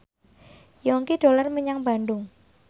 Yongki dolan menyang Bandung